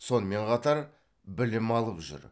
сонымен қатар білім алып жүр